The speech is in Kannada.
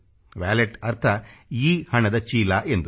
ವಾಲೆಟ್ ಅರ್ಥ ಎಲೆಕ್ಟ್ರಾನಿಕ್ ಹಣ ಇ ಹಣದ ಚೀಲ ಎಂದು